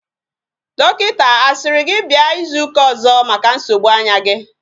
Dokinta asiri gi bia izu uka ozo maka nsogbu anya gi?